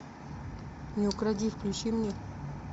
не укради включи мне